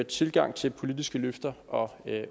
tilgang til politiske løfter og